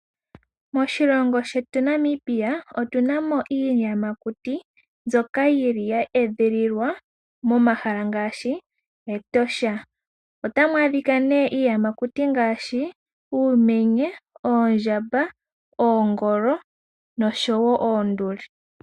Moshilongo shetu Namibia otunamo iiyamakuti mbyoka yili yeedhililwa moshikunino shiinamwenyo metosha. Metosha otamwadhika nee iiyamakuti ngaashi uumenye, oondjamba, oongolo nosho woo oonduli.